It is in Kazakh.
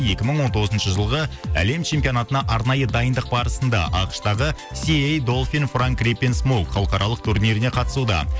екі мың он тоғызыншы жылғы әлем чемпионатына арнайы дайындық барысында ақш тағы халықаралық турниріне қатысуда